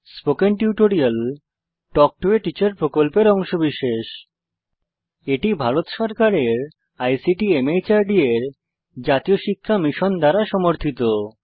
spoken tutorial talk to a teacher প্রকল্পের অংশবিশেষ এটি ভারত সরকারের আইসিটি মাহর্দ এর জাতীয় সাক্ষরতা মিশন দ্বারা সমর্থিত